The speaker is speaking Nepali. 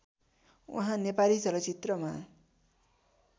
उहाँ नेपाली चलचित्रमा